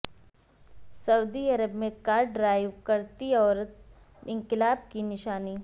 سعودی عرب میں car drive کرتی عورت انقلاب کی نشانی